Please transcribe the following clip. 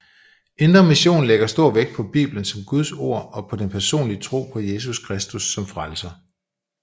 Indre Mission lægger stor vægt på Bibelen som Guds ord og på den personlige tro på Jesus Kristus som Frelser